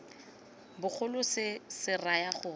bogolo se se raya gore